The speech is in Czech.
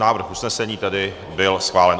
Návrh usnesení tedy byl schválen.